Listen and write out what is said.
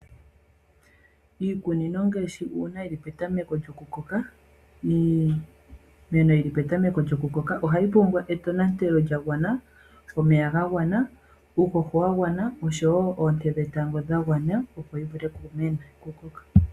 Iikunino ngashi uuna yili petameko lyo kukoka, ano iimeno yili petameko lyo kukoka, ohayi pumbwa etonatelo lyagwana, omeya ga gwana, uuhoho wa gwana osho wo oonte dhetango dha gwana, opo yi vule oku koka.